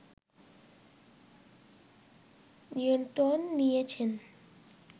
নিয়ন্ত্রণ নিয়ে নিয়েছে